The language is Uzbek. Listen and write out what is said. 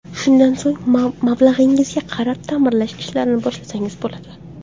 Shundan so‘ng mablag‘ingizga qarab ta’mirlash ishlarini boshlasangiz bo‘ladi.